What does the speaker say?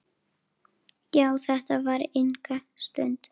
Já, þetta tók enga stund.